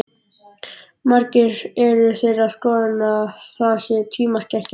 Margir eru þeirrar skoðunar að það sé tímaskekkja.